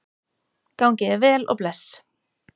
Gangi þér vel og bless.